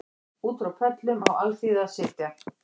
Út frá pöllum á alþýða að sitja